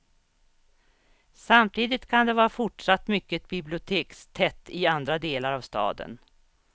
Samtidigt kan det vara fortsatt mycket bibliotekstätt i andra delar av staden.